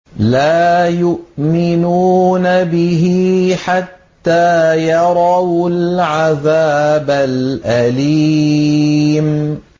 لَا يُؤْمِنُونَ بِهِ حَتَّىٰ يَرَوُا الْعَذَابَ الْأَلِيمَ